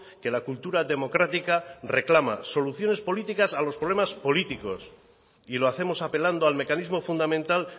que la cultura democrática reclama soluciones políticas a los problemas políticos y lo hacemos apelando al mecanismo fundamental